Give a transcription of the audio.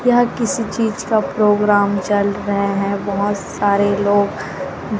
यहां किसी चीज का प्रोग्राम चल रहा है बहोत सारे लोग--